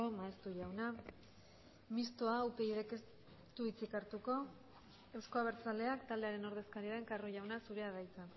maeztu jauna mistoa upyd ez du hitzik hartuko eusko abertzaleak taldearen ordezkaria den carro jauna zurea da hitza